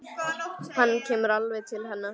Hann kemur alveg til hennar.